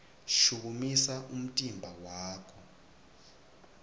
shukumisa umtimba wakho